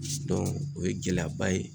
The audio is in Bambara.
o ye gɛlɛyaba ye